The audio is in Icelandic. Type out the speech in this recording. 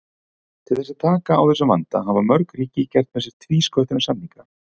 Til þess að taka á þessum vanda hafa mörg ríki gert með sér tvísköttunarsamninga.